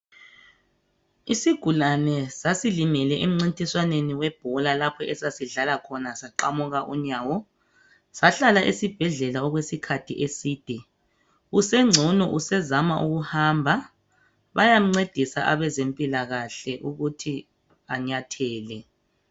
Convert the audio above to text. Isigulane sasilimele emnncintiswaneni webhola lapho esasidlala khona saqamuka unyawo. Sahlala esibhedlela okwesikhathi eside. Usengcono sezama ukuhamba, bayamncedisa abezempilakahle ukuthi anyathele.